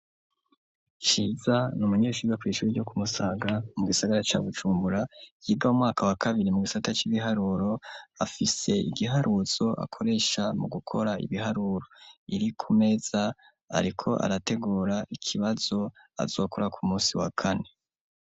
Ciza ni umunyeshuiriwa kw'icuri ryo kumusanga mu gisagara ca gucumbura yiga umwaka wa kabiri mu gisata c'igiharuro afise igiharuzo akoresha mu gukora ibiharuro iri ku meza, ariko arategura ikibazo azokora ku musi wa kane.